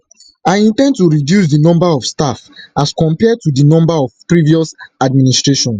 i in ten d to reduce di number of staff as compared to di number for previous administrations